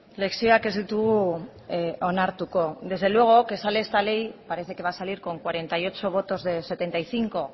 lezioak ez ditugu onartuko desde luego que sale esta ley parece que va a salir con cuarenta y ocho votos de setenta y cinco